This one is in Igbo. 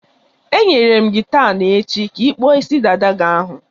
Enyere m gị taa na-echi ka ị kpụọ isi dada ahụ.